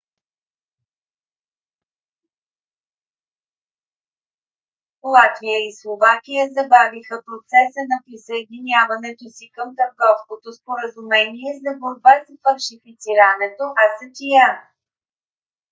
латвия и словакия забавиха процеса на присъединяването си към търговското споразумение за борба с фалшифицирането acta